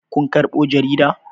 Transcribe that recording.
Kun karɓo jarida?